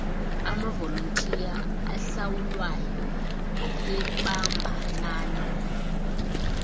amavolontiya ahlawulwayo ebambanani